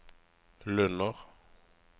Lunner